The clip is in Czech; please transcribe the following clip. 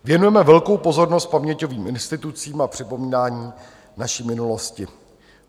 Věnujeme velkou pozornost paměťovým institucím a připomínání naší minulosti.